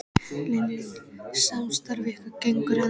Lillý: Samstarf ykkar gengur ennþá vel?